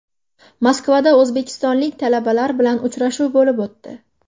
Moskvada o‘zbekistonlik talabalar bilan uchrashuv bo‘lib o‘tdi.